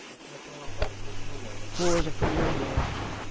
Essa já foi uma fase um pouco melhor da. Foi, já foi melhor, já